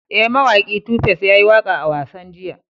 E, mawaki Tu Face ya yi waƙa a wasan jiya.